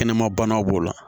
Kɛnɛma banaw b'o la